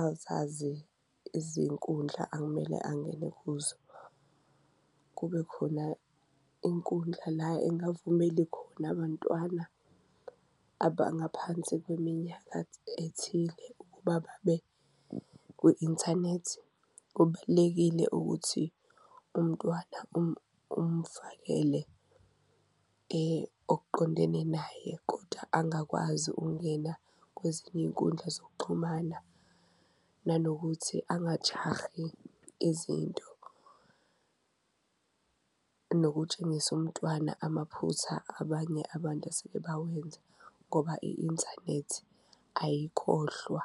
azazi izinkundla akumele angene kuzo, kube khona inkundla la engavumeli khona bantwana abangaphansi kweminyaka ethile ukuba babe kwi-inthanethi. Kubalulekile ukuthi umntwana umfakele okuqondene naye kodwla angakwazi ukungena kwezinye iy'nkundla zokuxhumana, nanokuthi angajahi izinto nokutshengisa umntwana amaphutha abanye abantu aseke bawenza ngoba i-inthanethi ayikhohlwa.